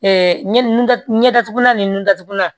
ɲɛda ɲɛdatugula ni nun datugulan